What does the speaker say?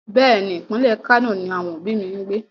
Bẹ́ẹ̀ni, ìpínlẹ̀ Kano ni àwọn òbí mi ń gbé.